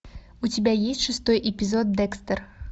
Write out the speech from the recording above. у тебя есть шестой эпизод декстер